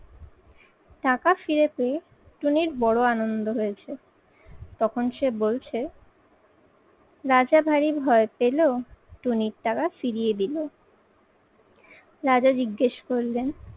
টাকা ফিরে পেয়ে টুনির বড় আনন্দ হয়েছে তখন সে বলছে রাজা ভারি ভয় পেল টুনির টাকা ফিরিয়ে দিল। রাজা জিজ্ঞেস করলেন,